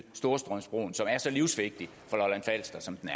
storstrømsbroen som er så livsvigtig for lolland falster som den